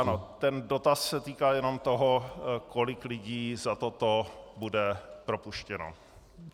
Ano, ten dotaz se týká jenom toho, kolik lidí za toto bude propuštěno.